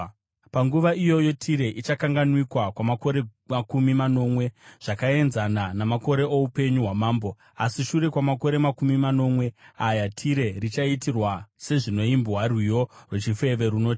Panguva iyoyo Tire ichakanganwikwa kwamakore makumi manomwe, zvakaenzana namakore oupenyu hwamambo. Asi shure kwamakore makumi manomwe aya, Tire richaitirwa sezvinoimbwa rwiyo rwechifeve runoti: